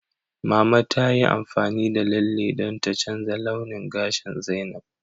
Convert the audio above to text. Mama ta yi amfani da lalle don ta canza launin gashin Zainab.